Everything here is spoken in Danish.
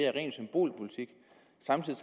samtidig